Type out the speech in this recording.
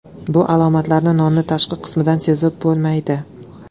Bu alomatlarni nonning tashqi qismidan sezib bo‘lmaydi.